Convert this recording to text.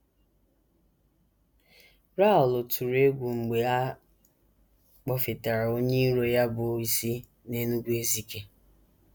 Raoul tụrụ egwu mgbe a kpọfetara onye iro ya bụ́ isi n’Enugu-Ezike.